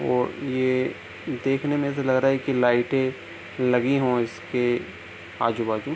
और ये देखने में तो लग रहा है की लाइटे लगी हों इसके आजू-बाजू।